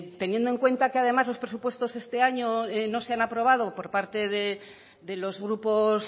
teniendo en cuenta los presupuestos de este año no se han aprobado por parte de los grupos